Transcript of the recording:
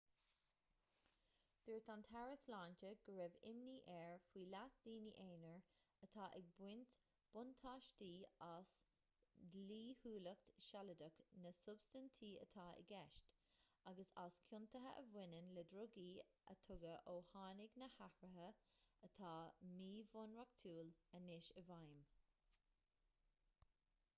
dúirt an taire sláinte go raibh imní air faoi leas daoine aonair atá ag baint buntáiste as dlíthiúlacht shealadach na substaintí atá i gceist agus as ciontuithe a bhaineann le drugaí a tugadh ó tháinig na hathruithe atá míbhunreachtúil anois i bhfeidhm